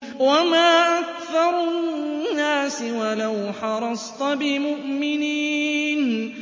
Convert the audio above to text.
وَمَا أَكْثَرُ النَّاسِ وَلَوْ حَرَصْتَ بِمُؤْمِنِينَ